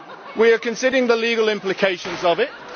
We are considering the legal implications of it.